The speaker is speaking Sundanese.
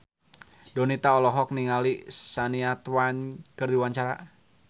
Donita olohok ningali Shania Twain keur diwawancara